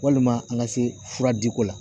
Walima an ka se fura diko la